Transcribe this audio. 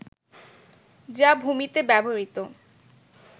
যা ভূমিতে ব্যবহৃত